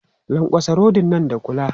Lankwatsa rodin nan da kula!